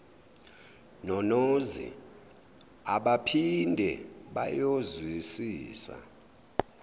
nonozi abaphinde bayozwisisa